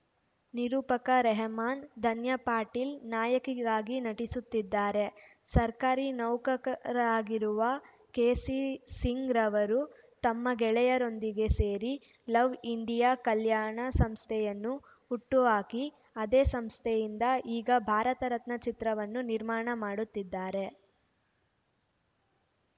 ನಿರೂಪಕ ರೆಹಮಾನ್‌ ಧನ್ಯ ಪಾಟೀಲ್‌ ನಾಯಕಿಯಾಗಿ ನಟಿಸುತ್ತಿದ್ದಾರೆ ಸರ್ಕಾರಿ ನೌಕರರಾಗಿರುವ ಕೆ ಸಿ ಸಿಂಗ್‌ ಅವರು ತಮ್ಮ ಗೆಳೆಯರೊಂದಿಗೆ ಸೇರಿ ಲವ್‌ ಇಂಡಿಯಾ ಕಲ್ಯಾಣ ಸಂಸ್ಥೆಯನ್ನು ಹುಟ್ಟುಹಾಕಿ ಅದೇ ಸಂಸ್ಥೆಯಿಂದ ಈಗ ಭಾರತರತ್ನ ಚಿತ್ರವನ್ನು ನಿರ್ಮಾಣ ಮಾಡುತ್ತಿದ್ದಾರೆ